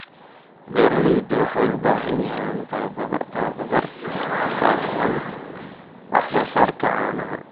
Beeralayda waxay u baahan yihiin tababar ku saabsan wax soo saarka caanaha.